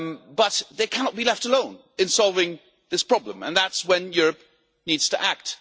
but they cannot be left alone in solving this problem. And that is when Europe needs to act.